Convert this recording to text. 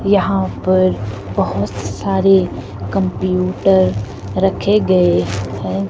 यहां पर बहोत सारे कंप्यूटर रखे गए है।